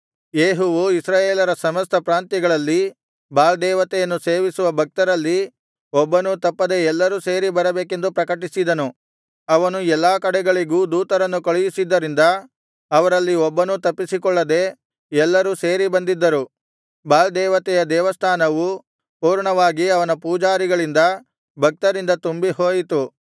ಯೇಹುವು ಇಸ್ರಾಯೇಲರ ಸಮಸ್ತ ಪ್ರಾಂತ್ಯಗಳಲ್ಲಿ ಬಾಳ್ ದೇವತೆಯನ್ನು ಸೇವಿಸುವ ಭಕ್ತರಲ್ಲಿ ಒಬ್ಬನೂ ತಪ್ಪದೆ ಎಲ್ಲರೂ ಸೇರಿ ಬರಬೇಕೆಂದು ಪ್ರಕಟಿಸಿದನು ಅವನು ಎಲ್ಲಾ ಕಡೆಗಳಿಗೂ ದೂತರನ್ನು ಕಳುಹಿಸಿದ್ದರಿಂದ ಅವರಲ್ಲಿ ಒಬ್ಬನೂ ತಪ್ಪಿಸಿ ಕೊಳ್ಳದೆ ಎಲ್ಲರೂ ಸೇರಿ ಬಂದಿದ್ದರು ಬಾಳ್ ದೇವತೆಯ ದೇವಸ್ಥಾನವು ಪೂರ್ಣವಾಗಿ ಅವನ ಪೂಜಾರಿಗಳಿಂದ ಭಕ್ತರಿಂದ ತುಂಬಿಹೋಯಿತು